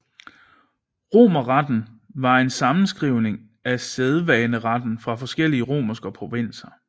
Romerretten var en sammenskrivning af sædvaneretten fra forskellige romerske provinser